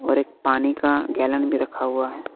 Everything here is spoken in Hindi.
और एक पानी का गैलन भी रखा हुआ है।